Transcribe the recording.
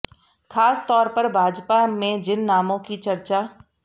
खास तौर पर भाजपा में जिन नामों की चर्चा